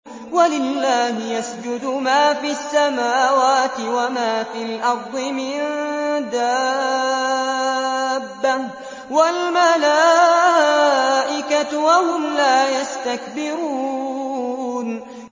وَلِلَّهِ يَسْجُدُ مَا فِي السَّمَاوَاتِ وَمَا فِي الْأَرْضِ مِن دَابَّةٍ وَالْمَلَائِكَةُ وَهُمْ لَا يَسْتَكْبِرُونَ